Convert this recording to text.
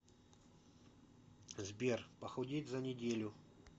сбер похудеть за неделю